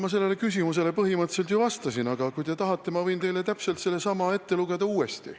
Ma sellele küsimusele põhimõtteliselt ju vastasin, aga kui te tahate, võin ma täpselt sellesama teksti uuesti ette lugeda.